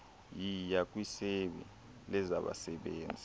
yiya kwisebe lezabasebenzi